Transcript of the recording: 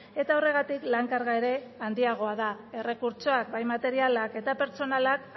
eta horregatik lan karga ere handiagoa da errekurtsoak bai materialak eta pertsonalak